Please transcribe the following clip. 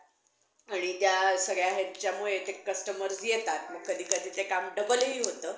हम्म